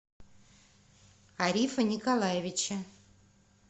арифа николаевича